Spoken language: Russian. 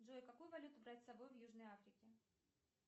джой какую валюту брать с собой в южной африке